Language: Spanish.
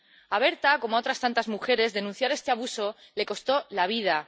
A Berta, como a otras tantas mujeres, denunciar este abuso le costó la vida.